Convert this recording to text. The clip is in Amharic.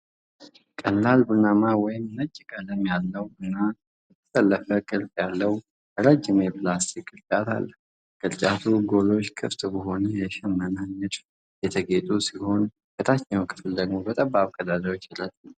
ቀላል ቡናማ ወይም ነጭ ቀለም ያለው እና የተጠለፈ ቅርጽ ያለው ረጅም የፕላስቲክ ቅርጫት አለ። የቅርጫቱ ጎኖች ክፍት በሆነ የሽመና ንድፍ የተጌጡ ሲሆን ከታችኛው ክፍል ደግሞ የጠባብ ቀዳዳዎች ረድፍ ይታያል።